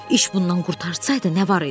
İş bundan qurtarsaydı, nə var idi ki?